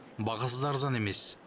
бағасы арзан емес